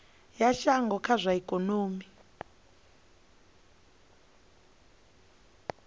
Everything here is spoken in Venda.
ya shango kha zwa ikonomi